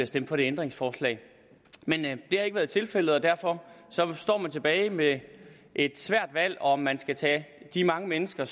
stemt for det ændringsforslag men det har ikke været tilfældet og derfor står man tilbage med et svært valg nemlig om man skal tage de mange mennesker